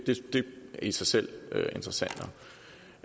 i sig selv interessant